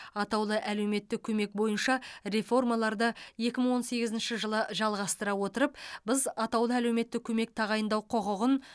атаулы әлеуметтік көмек бойынша реформаларды екі мың он сегізінші жылы жалғастыра отырып біз атаулы әлеуметтік көмек тағайындау құқығын